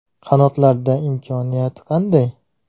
Qanotlarda imkoniyati qanday?